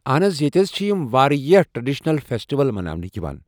اہن حظ ییٚتہِ حظ چھِ یِم واریاہ ٹریڑشنل فیسٹٕول مناوان یوان۔